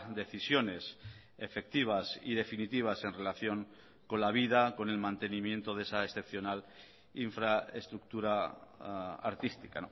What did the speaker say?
decisiones efectivas y definitivas en relación con la vida con el mantenimiento de esa excepcional infraestructura artística